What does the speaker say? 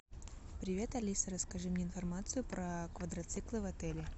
привет алиса расскажи мне информацию про квадроциклы в отеле